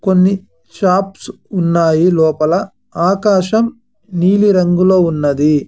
కొన్ని షాప్స్ ఉన్నాయి లోపల ఆకాశం నీలిరంగులో ఉన్నది.